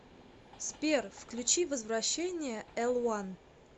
сбер включи возвращение элван